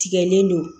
Tigɛlen don